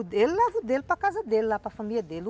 Ele leva o dele para casa dele, lá para a família dele.